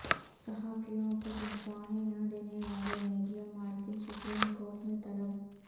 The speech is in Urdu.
صحافیوں کو تنخواہیں نہ دینے والے میڈیا مالکان سپریم کورٹ میں طلب